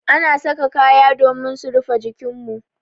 Ana saka kaya domin su rufe jikin mu.